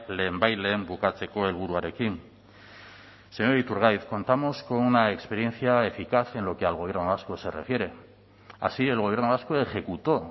lehenbailehen bukatzeko helburuarekin señor iturgaiz contamos con una experiencia eficaz en lo que al gobierno vasco se refiere así el gobierno vasco ejecutó